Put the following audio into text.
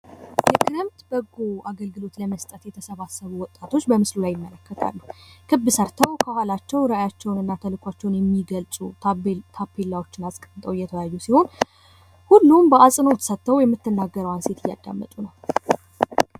የክረምት በጎ አገልግሎት ለመስጠት የተሰባሰቡ ወጣቶች በምስሉ ላይ እመለከታለሁ ።ክብ ሰርተው ከኋላቸው ተልኳቸውንና ራዕያቸውን የሚገልጹ ታቤላዎችን አስቀምጠው እየተወያዩ ሲሆን ሁሉም በአፅኖት ሰጠው የምትናገረውን ሴት እያዳመጡ ነው።